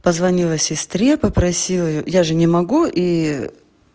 позвонила сестре попросила я же не могу и